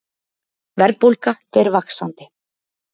Verðbólga fer vaxandi